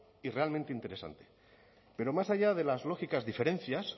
y realmente interesante pero más allá de las lógicas diferencias